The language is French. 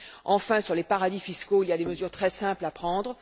Enfin, sur les paradis fiscaux, il y a des mesures très simples à prendre.